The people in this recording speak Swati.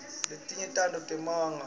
letinye tato ngemanga